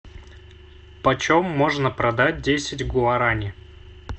почем можно продать десять гуарани